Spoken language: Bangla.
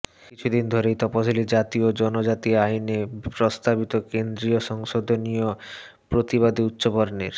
কিছু দিন ধরেই তফসিলি জাতি ও জনজাতি আইনে প্রস্তাবিত কেন্দ্রীয় সংশোধনীর প্রতিবাদে উচ্চবর্ণের